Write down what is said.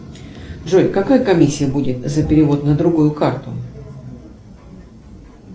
джой какая комиссия будет за перевод на другую карту